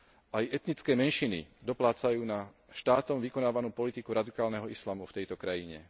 Aj etnické menšiny doplácajú na štátom vykonávanú politiku radikálneho islamu v tejto krajine.